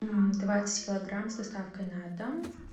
двадцать килограмм с доставкой на дом